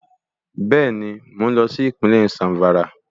Bẹ́ẹ̀ni mo lọ sí Ìpínlẹ̀ Zàmfàrà